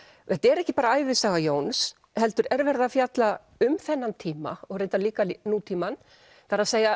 þetta er ekki bara ævisaga Jóns heldur er verið að fjalla um þennan tíma og reyndar líka nútímann það er